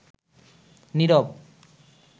নিরব